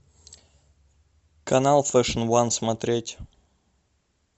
канал фэшн уан смотреть